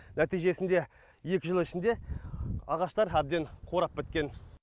нәтижесінде екі жыл ішінде ағаштар әбден қурап біткен